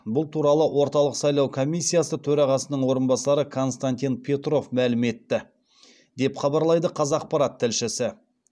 бұл туралы орталық сайлау комиссиясы төрағасының орынбасары константин петров мәлім етті деп хабарлайды қазақпарат тілшісі